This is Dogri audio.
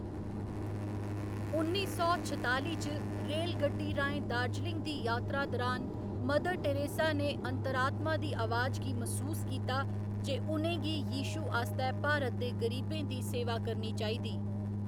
उन्नी सौ छताली च, रेलगड्डी राहें दार्जिलिंग दी यात्रा दरान, मदर टेरेसा ने अंतरात्मा दी आवाज गी मसूस कीता जे उ'नें गी यीशु आस्तै भारत दे गरीबें दी सेवा करनी चाहिदी।